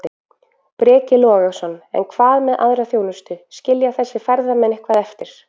Breki Logason: En hvað með aðra þjónustu, skilja þessir ferðamenn eitthvað eftir?